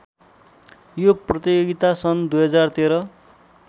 यो प्रतियोगिता सन् २०१३